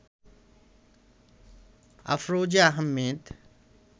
Afroza Ahmed